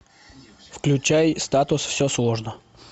включай статус все сложно